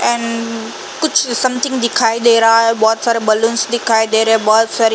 एन-न् कुछ समथिंग दिखाई दे रहा है। बहोत सारे बलुन्स दिखाई दे रहे हे। बहोत सारी --